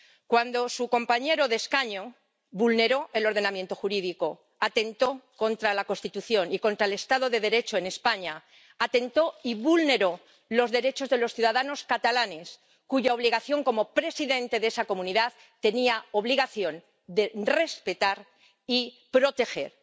Cuando su compañero de escaño vulneró el ordenamiento jurídico, atentó contra la Constitución y contra el estado de Derecho en España, atentó y vulneró los derechos de los ciudadanos catalanes, cuya obligación como presidente de esa comunidad tenía obligación de respetar y proteger.